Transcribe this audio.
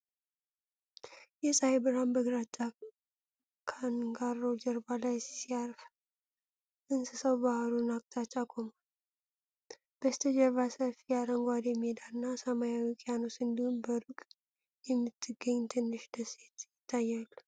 የፀሐይ ብርሃን በግራጫ ካንጋሮ ጀርባ ላይ ሲያርፍ፣ እንስሳው ባሕሩን አቅጣጫ ቆሟል። በስተጀርባ ሰፊ አረንጓዴ ሜዳና፣ ሰማያዊ ውቅያኖስ እንዲሁም በሩቅ የምትገኝ ትንሽ ደሴት ይታያሉ።